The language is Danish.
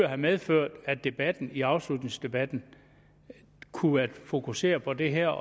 have medført at debatten i afslutningsdebatten kunne have fokuseret på det her